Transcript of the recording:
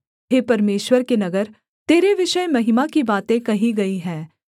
हे परमेश्वर के नगर तेरे विषय महिमा की बातें कही गई हैं सेला